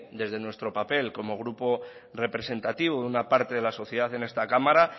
desde nuestro papel como grupo representativo de una parte de la sociedad en esta cámara